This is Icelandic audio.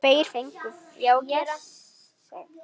Tveir fengu fésekt.